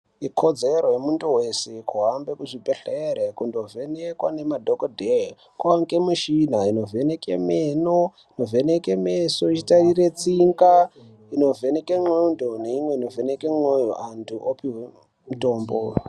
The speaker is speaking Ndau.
Ikodzero yemuntu weshe kuhambe kuchibhehlera kundovhenekwe ngemadhokodheya kwaane nemishina inovheneke meno, inovheneke meso ichitarire tsinga inovhenekwe nxlondo neimwe inovheneke mwoyo antu opuwe mutombo.